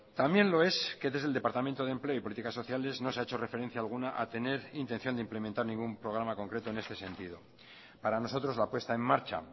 también lo es que desde el departamento de empleo y políticas sociales no se ha hecho referencia alguna a tener intención de implementar ningún programa concreto en este sentido para nosotros la puesta en marcha